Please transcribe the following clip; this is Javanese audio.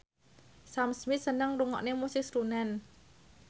Sam Smith seneng ngrungokne musik srunen